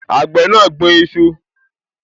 Àgbẹ̀ náà gbin iṣu